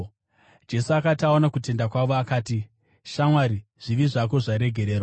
Jesu akati aona kutenda kwavo, akati, “Shamwari, zvivi zvako zvaregererwa.”